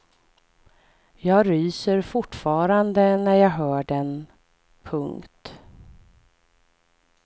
Jag ryser fortfarande när jag hör den. punkt